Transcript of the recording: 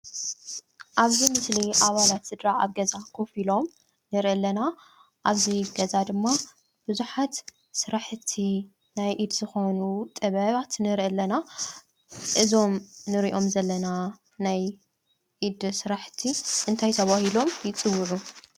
አብዚ ምስሊ አባላት ስድራ አብ ገዛ ኮፍ ኢሎም ንሪኢ አለና፡፡ አብዚ ገዛ ድማ ቡዙሓት ስራሕቲ ናይ ኢድ ዝኾኑ ጥበባት ንሪኢ አለና፡፡ እዞም እንሪኦም ዘለና ናይ ኢድ ስራሕቲ እንታይ ተባሂሎም ይፅውዑ?